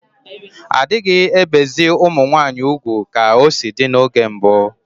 Adighi ebezi ụmụ nwanyi ụgwụ ka o si di n’oge mbu